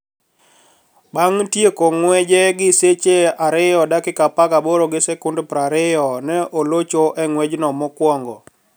Bang ' tieko ng'weye gi seche 2:18:20, ne olocho e ng'wejno mokwongo.